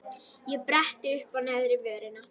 Ég bretti uppá neðri vörina.